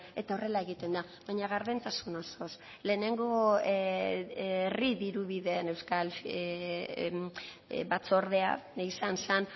eta horrela egiten da baina gardentasun osoz lehenengo herri diru bideen euskal batzordea izan zen